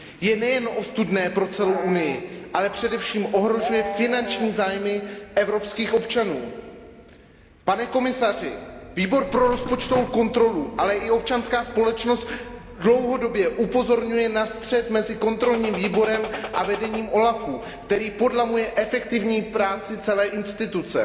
je nejen ostudné pro celou Unii, ale především ohrožuje finanční zájmy evropských občanů. Pane komisaři, Výbor pro rozpočtovou kontrolu, ale i občanská společnost dlouhodobě upozorňuje na střet mezi dozorčím výborem a vedením úřadu OLAF, který podlamuje efektivní práci celé instituce.